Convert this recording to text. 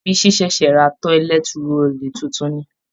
Bisi ṣẹ̀ṣẹ̀ ra tọ́lẹt roòlù tuntun ni